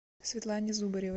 светлане зубаревой